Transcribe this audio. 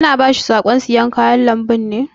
Ki na ba shi saƙon sayan kayan lambun ne?